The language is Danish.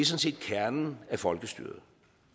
set kernen af folkestyret